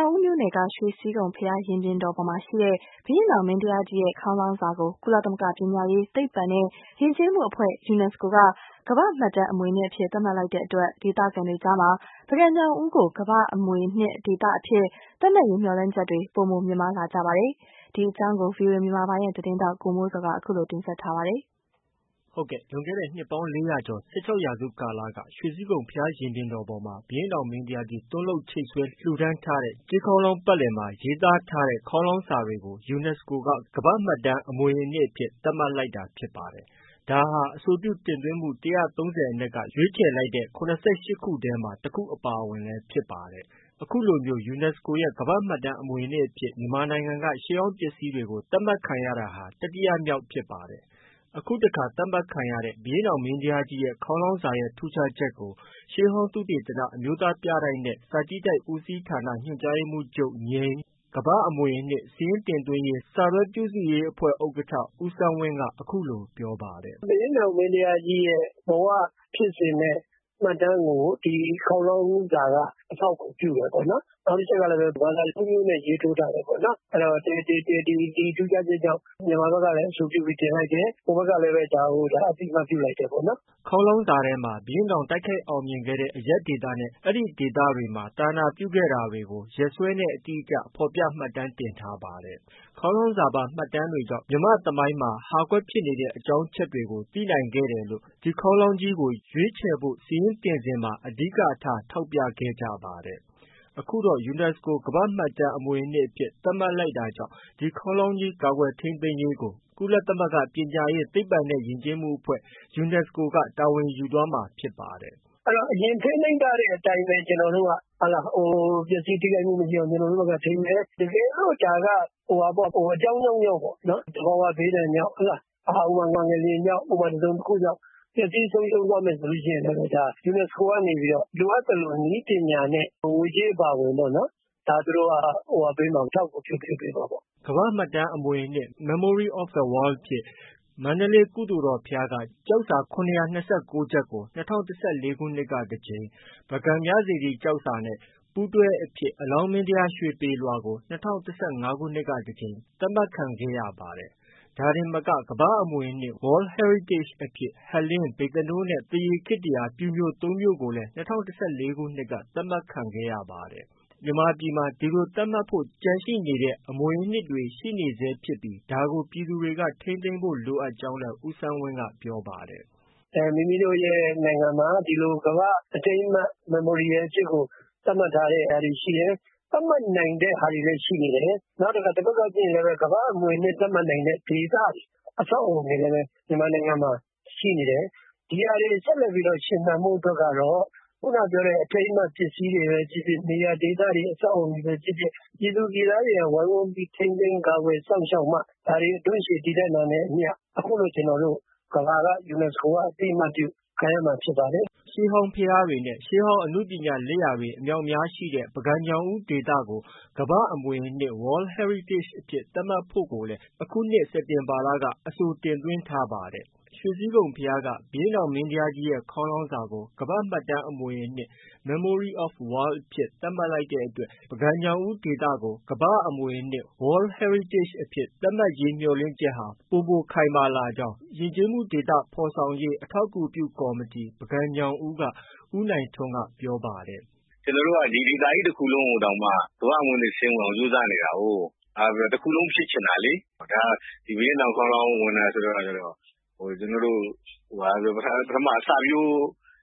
ောင်ဦးမြို့နယ်က ရွှေစည်းခုံဘုရားရင်ပြင်တော်ပေါ်ရှိ ဘုရင့်နောင်မင်းတရားကြီးရဲ့ ခေါင်းလောင်းစာကို ကုလသမဂ္ဂ ပညာရေး၊ သိပ္ပံနဲ့ ယဉ်ကျေးမှုအဖွဲ့ UNSCO က ကမ္ဘာ့မှတ်တမ်းအမွေအနှစ်အဖြစ် သတ်မှတ် လိုက်တဲ့အတွက် ဒေသခံတွေအကြားမှာ ပုဂံ-ညောင်ဦးကို ကမ္ဘာ့အမွေအနှစ်ဒေသအဖြစ် သတ်မှတ်ရေး မျှော်လင့်ချက်တွေ ပိုမိုမြင့်မားလာပါနေပါတယ်။ ဒီသတင်းကို ဗွီအိုအေမြန်မာပိုင်းရဲ့သတင်းထောက် ကိုမိုးဇော်က အခုလို တင်ပြထားပါတယ်။ လွန်ခဲ့တဲ့ နှစ်ပေါင်း ၄၀၀ ကျော် ၁၆ ရာစုကာလတုန်းက ရွှေစည်းခုံဘုရားရင်ပြင်တော်ပေါ်မှာ ဘုရင့်နောင်မင်းတရားကြီးသွန်းလုပ်ချိတ်ဆွဲ လှူဒါန်းထားတဲ့ ကြေးခေါင်းလောင်းပတ်လည်မှာ ရေးသားထားတဲ့ ခေါင်းလောင်းစာတွေကို UNESCO က ကမ္ဘာ့မှတ်တမ်း အမွေအနှစ်အဖြစ် သတ်မှတ်လိုက်တာဖြစ်ပါတယ်။ ဒါဟာ အဆိုပြုတင်သွင်းမှု ၁၃၀အနက်က ရွေးခြယ်လိုက်တဲ့ ၇၈ ထဲမှာ အပါအဝင်လည်း ဖြစ်ပါတယ်။ ခုလိုမျိုးUNESCO ရဲ့ ကမ္ဘာ့မှတ်တမ်း အမွေအနှစ်အဖြစ် မြန်မာနိုင်ငံက ရှေးဟောင်းပစ္စည်းတွေ သတ်မှတ်ခံရတာဟာ တတိယမြောက်ဖြစ်ပါတယ်။ အခုတခါ သတ်မှတ်ခံရတဲ့ ဘုရင့်နောင်မင်းတရားကြီးရဲ့ ခေါင်းလောင်းစာရဲ့ ထူးခြားချက်ကို ရှေးဟောင်းသုတေသန၊ အမျိုးသားပြတိုက်နဲ့ စာကြည့်တိုက်ဦးစီးဌာန ညွှန်ကြားရေးမှုးချုပ် နဲ့ ကမ္ဘာ့အမွေအနှစ်စာရင်းတင်သွင်းရေး စာတွဲပြုစုရေးဥက္ကဌ ဦးစန်းဝင်းက အခုလို ပြောပါတယ်။ “ဘုရင့်နောင်မင်းတရားကြီးရဲ့ဘဝဖြစ်စဉ်နဲ့ မှတ်တမ်းကို ဒီခေါင်းလောင်းစာက အထောက်အကူပြုတယ်ပေါ့နော်။ နောက်ပြီးတော့လည်း ဘာသာ၃ မျိုးနဲ့ ရေးထိုးထားတယ်ပေါ့နော်။ အဲဒီတော့ ဒီထူးခြားချက်ကြောင့် မြန်မာဘက်ကလည်း အဆိုပြုပြီးတင်လိုက်တယ်။ ဟိုဘက်ကလည်း ဒါကိုအသိအမှတ်ပြုလိုက်တယ်ပေါ့နော်။” ခေါင်းလောင်းစာထဲမှာ ဘုရင့်နောင် တိုက်ခိုက်အောင်မြင်ခဲ့တဲ့ အရပ်ဒေသနဲ့ အဲဒီဒေသတို့မှာ သာသနာပြုခဲ့တာတွေကို ရက်စွဲတွေနဲ့ အတိအကျဖော်ပြ မှတ်တမ်းတင်ထားပါတယ်။ ခေါင်းလောင်းစာပါမှတ်တမ်းတွေကြောင့် မြန်မာ့သမိုင်းမှာ ဟာကွက်ရှိနေတဲ့ အကြောင်းအချက်တွေကို သိနိုင်ခဲ့တယ်လို့ ဒီခေါင်းလောင်းကြီးကို ရွေးချယ်ဖို့စာရင်းတင်စဉ်မှာ အဓိကထား ထောက်ပြခဲ့ကြပါတယ်။ အခုတော့ UNESCO ကမ္ဘာ့မှတ်တမ်း အမွေအနှစ်အဖြစ် သတ်မှတ်လိုက် တာကြောင့် ဒီခေါင်းလောင်းကြီး ကာကွယ်ထိန်းသိမ်းရေးကိုကုလသမဂ္ဂ ပညာရေး၊ သိပ္ပံနဲ့ ယဉ်ကျေးမှုအဖွဲ့ UNESCO ကတာဝန်ယူသွားမှာဖြစ်ပါတယ်။ “အဲဒီတော့ အရင်ထိန်းသိမ်းထားတဲ့အတိုင်းပဲ ကျနော်တို့က ပျက်စီးထိခိုက်မှုမရှိအောင် ကျနော်တို့ဘက်က ထိန်းမယ်။ တကယ်လို့ ဒါက အကြောင်းကြောင်းကြောင့် သဘာဝဘေးဒဏ်ကြောင့် ၊ ငလျင်ကြောင့် တစုံတခုကြောင့် ပျက်စီးဆုံးရှုံးသွားမယ်ဆိုရင်လည်း ဒါ UNESCO ကနေပြီးတော့ လိုအပ်သလို နည်းပညာနဲ့ ငွေကြေးအပါအဝင်ပေ့ါနော် ဒါသူတို့က အထောက်အကူပြုပေးမှာပေါ့နော်။” ကမ္ဘာ့မှတ်တမ်းအမွေအနှစ် Memory of the World အဖြစ် မန္တလေး ကုသိုလ်တော်ဘုရားက ကျောက်စာ ၇၂၉ ချပ် ကို ၂၀၁၄ ခုနှစ်ကတကြိမ်၊ ပုဂံမြစေတီကျောက်စာနဲ့ ပူးတွဲအဖြစ် အလောင်းမင်းတရားရွှေပေလွှာကို ၂၀၁၅ ခုနှစ်ကတကြိမ် သတ်မှတ်ခံခဲ့ရပါတယ်။ ဒါတင်မက ကမ္ဘာ့အမွေအနှစ် World Heritage အဖြစ် ဟန်လင်း၊ ဗိဿနိုးနဲ့ သရေခေတ္တ ပျူမြို့ ၃မြို့ကိုလည်း ၂၀၁၄ ခုနှစ်က သတ်မှတ်ခံရပါတယ်။ မြန်မာပြည်မှာ ဒီလို သတ်မှတ်ဖို့ကျန်ရှိနေတဲ့အမွေအနှစ်တွေ ရှိနေဆဲဖြစ်ပြီး ဒါကို ပြည်သူတွေ ထိန်းသိမ်းဖို့ လိုအပ်ကြောင်းလည်း ဦးစန်းဝင်းက ပြောပါတယ်။ “မိမိတို့နိုင်ငံမှာ ဒီလိုကမ္ဘာ့အထိန်းအမှတ် memorial အဖြစ်ကို သတ်မှတ်ထားတဲ့ အရာတွေရှိတယ်။ သတ်မှတ်နိုင်တဲ့ ဟာတွေလည်းရှိနေတယ်။ နောက်တခါတဖက်ကကြည့်ရင်လည်း ကမ္ဘာ့အမွေအနစ်သတ်မှတ်နိုင်တဲ့ ဒေသတွေ အဆောက်အအုံတွေလည်း မြန်မာနိုင်ငံမှာ ရှိနေတယ်။ ဒီဟာတွေဆက်လက်ပြီးတော့ ရှင်သန်ဖို့အတွက်ကတော့ ခုနပြောတဲ့ အထိမ်းအမှတ်ပစ္စည်းတွေပဲဖြစ်ဖြစ်၊ နေရာဒေတွေ၊ အဆောက်အအုံတွေပဲဖြစ်ဖြစ်၊ ပြည်သူပြည်သားတွေက ဝိုင်းဝန်းပြီး ထိန်းသိမ်းကာကွယ်စောင့်ရှောက်မှ ဒါတွေ အဓွန့်ရှည်တည်တံ့နိုင်တာနဲ့ အမျှ အခုလိုကျနော်တို့ ကမ္ဘာက UNESCO ကအသိအမှတ်ပြု ခံရမှာ ဖြစ်ပါတယ်။” ရှေးဟောင်းဘုရားတွေနဲ့ ရှေးဟောင်းအနုပညာလက်ရာ အမြောက်အများရှိတဲ့ ပုဂံ-ညောင်ဦးဒေသကို ကမ္ဘာ့အမွေအနှစ် World Heritage အဖြစ်သတ်မှတ်ခံရနိုင်ဖို့လည်း အခုနှစ် စက်တင်ဘာကလဲ အဆိုတင်သွင်း ထားပါ တယ်။ ရွှေစည်းခုံဘုရားက ဘုရင့်နောင်မင်းတရားကြီး ခေါင်းလောင်းစာကို ကမ္ဘာ့မှတ်တမ်းအမွေအနှစ် Memory of the World အဖြစ်သတ်မှတ်လိုက်တဲ့အတွက် ပုဂံ-ညောင်ဦးဒေသကို ကမ္ဘာ့အမွေအနှစ် World Heritage သတ်မှတ်ရေးမျှော်လင့်ချက်ဟာ ပိုမိုခိုင်မာလာကြောင်း ယဉ်ကျေးမှုဒေသဖော်ဆောင်ရေး အထောက်အကူ ပြုကော်မတီ က ဦးနိုင်ထွန်းက ပြောပါတယ်။ “ကျနော်တို့က ဒီဒေသကြီးတခုလုံးကိုတောင်မှ ကမ္ဘာ့အမွေအနှစ်စာရင်းဝင်အောင် ကြိုးစားနေတာကို တခုလုံးဖြစ်ချင်တာလေ၊ ဘုရင့်နောင်ခေါင်းလောင်း က စာရင်းဝင်တဲ့အခါကျတော့ ဘာပဲ ပြောပြော ကျနော်တို့က ပထမအစပျိုး